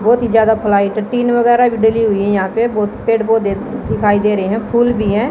बहुत ही ज्यादा फ्लाइट टीन वगैरह भी डली हुई हैं यहां पे बहुत पेड़ पौधे दिखाई दे रहे हैं फूल भी हैं।